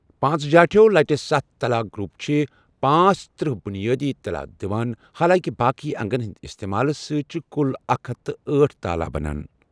پانٛژ جاٹھیو لٹہِ ستھ طلا گروپ چھِ پانٛژترٛہ بنیٲدی طلا دِوان، حالانٛکِہ باقی انگن ہنٛدۍ استعمال سۭتۍ چھِ کُل اکھ ہتھ تہٕ ٲٹھ تالا بَنان۔